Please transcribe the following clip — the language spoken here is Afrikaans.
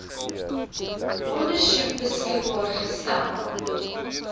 ondersoek beskikbaar gestel